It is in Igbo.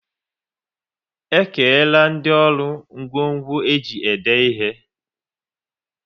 E kerela ndị ọrụ ngwo ngwo e ji ede ihe